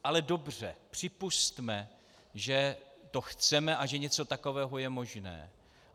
Ale dobře, připusťme, že to chceme a že něco takového je možné.